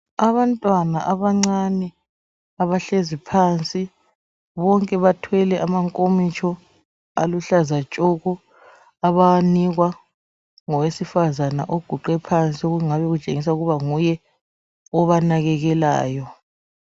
Abantwana abancane abahlezi phansi bonke bathwele amankomitshi aluhlaza tshoko abawanikwa ngowesifazana oguqe phansi okungabe kutshengisa ukuthi nguye obanakekelayo.